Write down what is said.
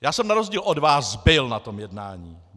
Já jsem na rozdíl od vás byl na tom jednání.